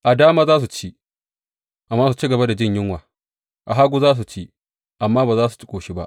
A dama za su ci, amma su ci gaba da jin yunwa; a hagu za su ci, amma ba za su ƙoshi ba.